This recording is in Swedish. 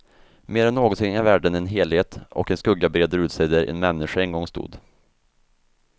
Mer än någonsin är världen en helhet, och en skugga breder ut sig där en människa en gång stod.